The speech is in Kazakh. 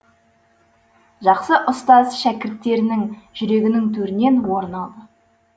жақсы ұстаз шәкірттерінің жүрегінің төрінен орын алады